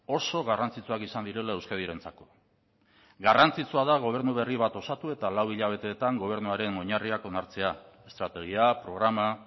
oso garrantzitsuak izan direla euskadirentzako garrantzitsua da gobernu berri bat osatu eta lau hilabeteetan gobernuaren oinarriak onartzea estrategia programa